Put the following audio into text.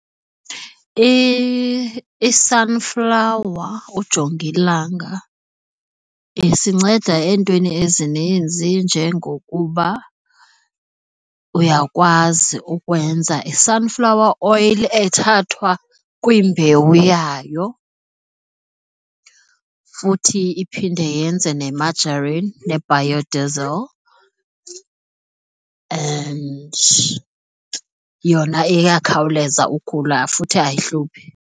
i-sunflower, ujongilanga isinceda entweni ezininzi njengokuba uyakwazi ukwenza i-sunflower oil ethathwa kwimbewu yayo, futhi iphinde yenze ne-margarine ne-biodiesel, and yona iyakhawuleza ukhula futhi ayihluphi.